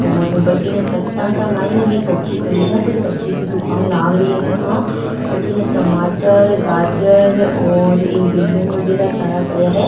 और बठीने कट्टा के मायने भी सब्जी पड़ी है कोई सब्जी की दुकान लाग रही है आ अठीने टमाटर गाजर और ई बैगन वगेरा सारा पड़िया है।